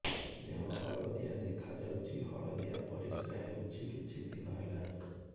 ଦେହ ହଳଦିଆ ଦେଖାଯାଉଛି ହଳଦିଆ ପରିଶ୍ରା ହେଉଛି କିଛିଦିନ ହେଲାଣି